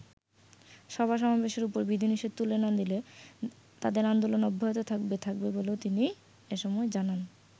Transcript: সভা-সমাবেশের ওপর বিধিনিষেধ তুলে না নিলে তাদের আন্দোলন অব্যাহত থাকবে থাকবে বলেও তিনি এসময় জানান।